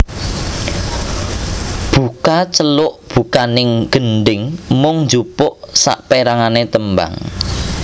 Buka celuk bukaning gendhing mung njupuk saperangane tembang